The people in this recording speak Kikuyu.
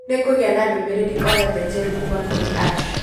Nĩngũgĩa na ndũmĩrĩri o yothe njerũ kuuma kũrĩ Ash.